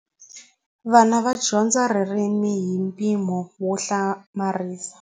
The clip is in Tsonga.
Vana va dyondza ririmi hi mpimo wo hlamarisa.